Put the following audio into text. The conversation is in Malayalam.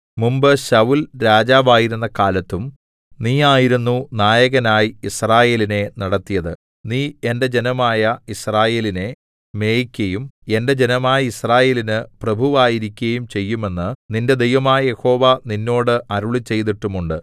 മുമ്പ് ശൌല്‍ രാജാവായിരുന്ന കാലത്തും നീയായിരുന്നു നായകനായി യിസ്രായേലിനെ നടത്തിയത് നീ എന്റെ ജനമായ യിസ്രായേലിനെ മേയ്ക്കയും എന്റെ ജനമായ യിസ്രായേലിന് പ്രഭുവായിരിക്കയും ചെയ്യുമെന്നു നിന്റെ ദൈവമായ യഹോവ നിന്നോട് അരുളിച്ചെയ്തിട്ടുമുണ്ട്